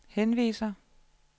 henviser